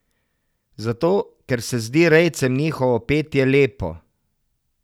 Zato ker se zdi rejcem njihovo petje lepo.